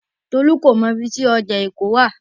Tolú kò mọ ibi tí ọjà Èkó wà.